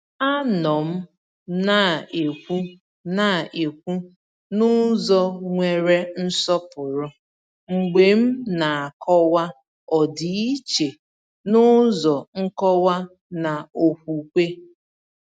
A nọ m na-ekwu na-ekwu n’ụzọ nwere nsọpụrụ mgbe m na-akọwa ọdịiche n’ụzọ nkọwa na okwukwe.